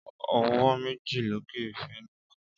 Ọwọ́ méjì lókè fẹ́nìkan.